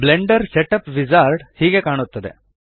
Blender set up wizard ಹೀಗೆ ಕಾಣುತ್ತದೆ